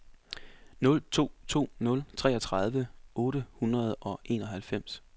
nul to to nul toogtredive otte hundrede og enoghalvfems